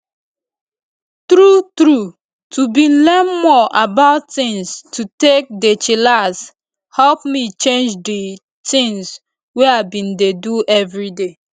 true true to bin learn more about tins to take dey chillax help me change di tins wey i bin dey do everyday